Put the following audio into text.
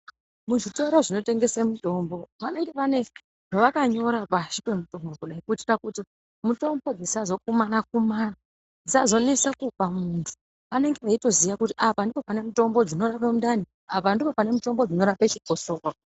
Muzvitoro zvinotengesa mitombo vanenge vane vakanyora pashi pemitombo kudai kuitira kuti mitombo dzisazokumana kumana. Dzisazonesa kupa muntu. Vanenge veitoziya kuti apa ndipo pane mutombo dzinorapa mundani, apa ndipo pane mutombo dzinorapa chikosoro.